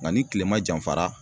Nga ni kilema janfara